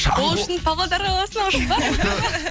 ол үшін павлодар қаласына ұшып барыңыз